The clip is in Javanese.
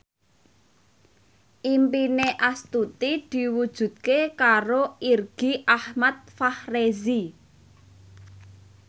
impine Astuti diwujudke karo Irgi Ahmad Fahrezi